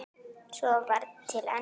Svo var til enda.